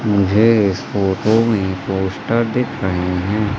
मुझे इस फोटो मे पोस्टर दिख रहें है--